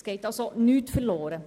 Es geht also nichts verloren.